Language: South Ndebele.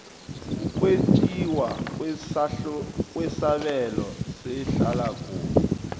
ukwetjiwa kwesabelo sehlalakuhle